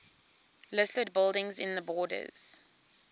listed buildings in the borders